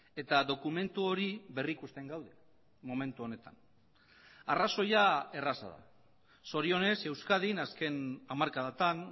eta dokumentu hori berrikusten gaude momentu honetan arrazoia erraza da zorionez euskadin azken hamarkadatan